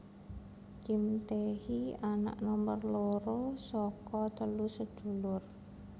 Kim Tae hee anak nomor loro saka telu sedulur